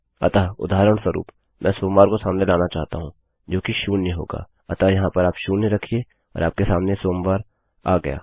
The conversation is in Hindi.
अतः उदाहरणस्वरूप मैं सोमवार को सामने लाना चाहता हूँ जो कि शून्य होगाअतः यहाँ पर आप शून्य रखिये और आपके सामने सोमवार आ गया